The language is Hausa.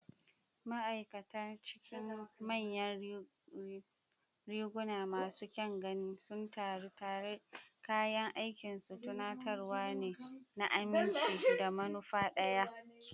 Ma'aikata a cikin manyan riguna masu kyan gani sun taru tare, kayan aikinsu tunatarwa ne na aminci da manufa ɗaya.